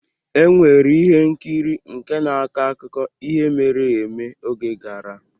E nwere ihe nkiri nke na-akọ akụkọ ihe mere eme oge gara.